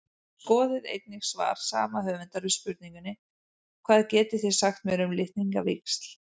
Skoðið einnig svar sama höfundar við spurningunni Hvað getið þið sagt mér um litningavíxl?